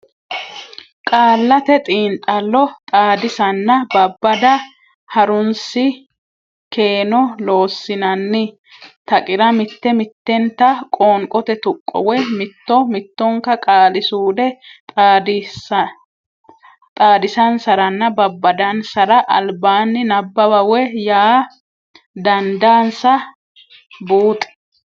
Qaallate Xiinxallo Xaadisanna Babbada Ha runsi keeno Loossinanni taqira mitte mittenta qoonqote tuqqo woy mitto mittonka qaali suude xaadisansaranna babbadansara albaanni nabbawa woy yaa dandaansa buuxi.